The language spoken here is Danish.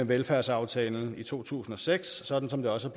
velfærdsaftalen i to tusind og seks sådan som det også